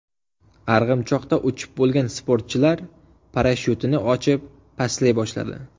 Arg‘imchoqda uchib bo‘lgan sportchilar parashyutini ochib, pastlay boshladi.